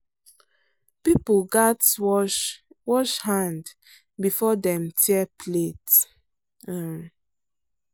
people gats wash wash hand before dem tear plate. um